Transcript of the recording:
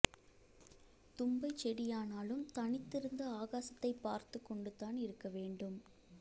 தும்பை செடியானாலும் தனித்து இருந்து ஆகாசத்தை பார்த்துக் கொண்டுதான் இருக்க வேண்டும்